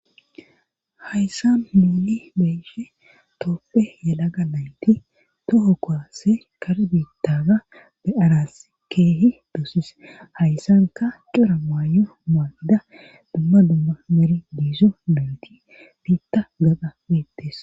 Hayssa muuli beyshe toppe yalaga nayti toho koase kar biittaga be7aras keehi doosis hayssanka cura maayo maayida dumma dumma meri diizo mayti biitta gada meettes.